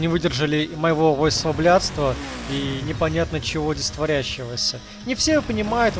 не выдержали моего войсоблядства и непонятно чего здесь творящегося не все понимают